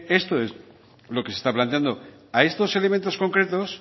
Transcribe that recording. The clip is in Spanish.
esto es lo que se está planteando a estos elementos concretos